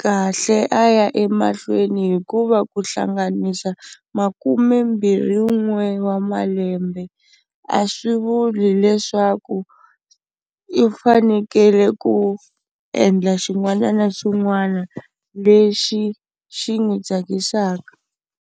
kahle a ya emahlweni hikuva ku hlanganisa makumbembirhi-n'we wa malembe, a swi vuli leswaku i fanekele ku endla xin'wana na xin'wana lexi xi n'wi tsakisaka.